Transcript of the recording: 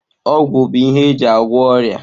Ọgwụ bụ ihe eji agwọ ọrịa.